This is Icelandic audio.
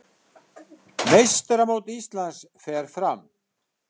Meistaramót Íslands fer fram